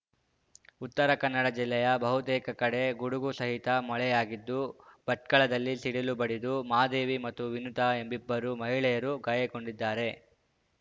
ಉತ್ತರ ಕನ್ನಡ ಜಿಲ್ಲೆಯ ಬಹುತೇಕ ಕಡೆ ಗುಡುಗು ಸಹಿತ ಮಳೆಯಾಗಿದ್ದು ಭಟ್ಕಳದಲ್ಲಿ ಸಿಡಿಲು ಬಡಿದು ಮಾದೇವಿ ಮತ್ತು ವಿನುತಾ ಎಂಬಿಬ್ಬರು ಮಹಿಳೆಯರು ಗಾಯಗೊಂಡಿದ್ದಾರೆ